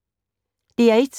DR1